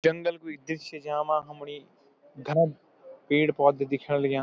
जंगल कुइ दृश्य च यामा हमुणी घाम पेड़-पौधा दिख्यण लग्यां।